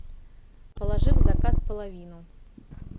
положи в заказ половину